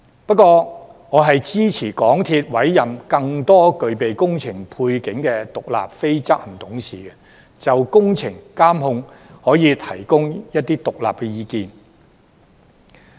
不過，我支持港鐵公司委任更多具備工程背景的獨立非執行董事，就工程監控提供一些獨立的意見。